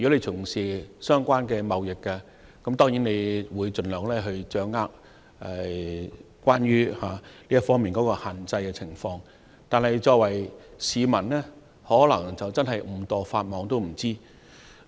從事相關貿易的業內人士，當然會掌握有關這項限制的詳情，但一般市民可能在不知情的情況下誤墮法網。